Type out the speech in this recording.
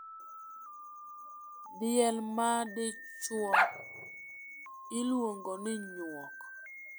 Diel madichuo iluongo ni nyuok.